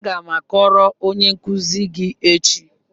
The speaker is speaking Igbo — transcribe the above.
Aga m akọrọ onye nkuzi gị echi.